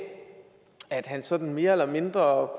at han sådan mere eller mindre